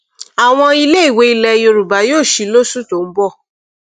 àwọn iléèwé ilẹ yorùbá yóò sì lóṣù tó ń bọ